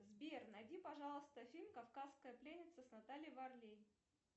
сбер найди пожалуйста фильм кавказская пленница с натальей варлей